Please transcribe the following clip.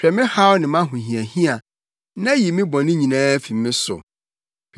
Hwɛ me haw ne mʼahohiahia na yi me bɔne nyinaa fi me so.